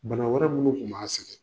Bana wɛrɛ minnu tun b'a sƐgƐ